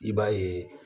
I b'a ye